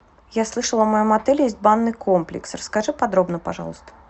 я слышала в моем отеле есть банный комплекс расскажи подробно пожалуйста